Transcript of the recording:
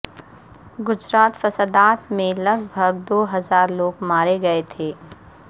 گجرات فسادات میں لگ بھگ دو ہزار لوگ مارے گئے تھے